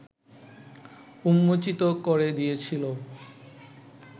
উন্মোচিত করে দিয়েছিল ও